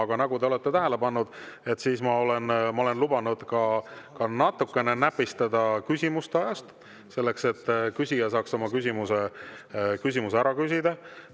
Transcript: Aga nagu te olete tähele pannud, ma olen lubanud natukene näpistada ajast, et küsija saaks oma küsimuse ära küsida.